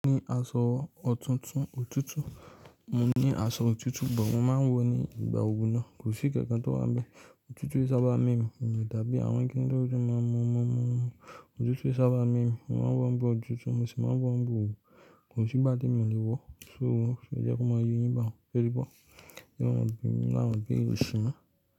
Mo ní aṣọ òtútù, mo máa ń wọ̀ ní ìgbà oru náà. Kò sí nkankan tó wá ń bẹ, òtútù kii sábá mu mí, mi o dàbí àwọn kíní tótutu maa n mu mu mu òtútù ki sá bá mu emí, mo máa ń wọ̀ ń ba òtútù, mo sì máa ń wọ̀ ń bọ̀ òòrù, kò sí gbá té mi o lè wọ̀. So, ẹ jẹ́ kó máa yé yín bá a ń sẹ́ tí i bọ̀? Ema ma bi mi lawon ibere osi mo.